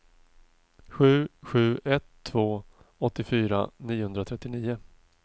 sju sju ett två åttiofyra niohundratrettionio